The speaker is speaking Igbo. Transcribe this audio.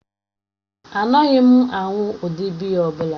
Anaghị m aṅụ ụdị biya ọ bụla.